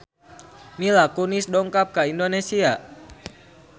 Mila Kunis dongkap ka Indonesia